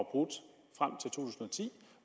ti